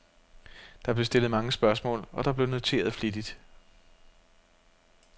Der blev stillet mange spørgsmål, og der blev noteret flittigt.